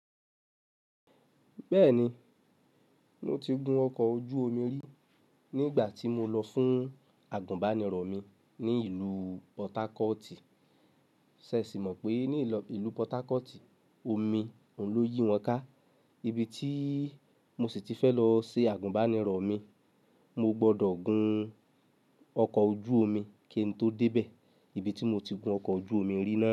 Bẹ́ẹ̀ni, mo ti gun ọkọ̀ ojú omi rí nígbà tí mo lọ fún àgùnbánirọ̀ mi ní ìlú Pọtakọti. Ṣé ẹ sì mọ̀ pé ní ìlú Pọtakọti, omi oun lóyì wọn ká, ibi tí mo sì ti fẹ́ lọ ṣe àgùnbánirọ̀ mi. Mo gbọdọ̀ gun ọkọ̀ ojú omi kí n tó dé bẹ̀. Ibi tí mo ti gun ọkọ̀ ojú omi rí naa.